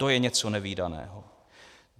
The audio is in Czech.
To je něco nevídaného!